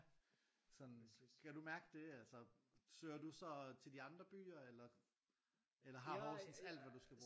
Sådan kan du mærke det altså søger du så til de andre byer eller eller har Horsens alt hvad du skal bruge